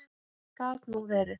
Gat nú verið.